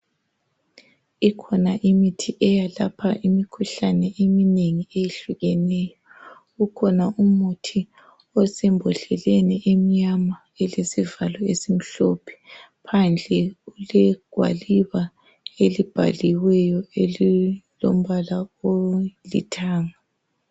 Ikhona imithi eyelapha imikhuhlane eminengi eyehlukeneyo. Ukhona umuthi osembodleleni emnyama elesivalo esimhlophe. Phandle kulegwaliba elibhaliweyo elilombala olithanga.